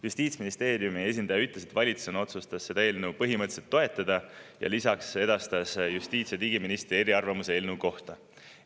Justiitsministeeriumi esindaja ütles, et valitsus otsustas seda eelnõu põhimõtteliselt toetada, ja lisaks edastas ta justiits‑ ja digiministri eriarvamuse eelnõu kohta.